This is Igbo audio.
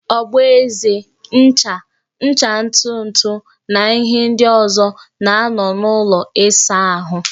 Ogboeze, ncha, ncha ntutu na ihe ndi ọzo na-anọ n'ụlọ ịsa ahụ